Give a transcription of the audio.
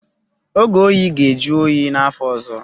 Oge oyi ga-ajụ oyi n'afọ ọzọ.